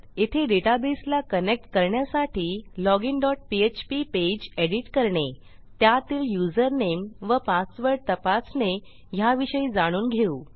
येथे डेटाबेसला कनेक्ट करण्यासाठी login dot PHP page edit करणे त्यातील युजरनेम व पासवर्ड तपासणे ह्याविषयी जाणून घेऊ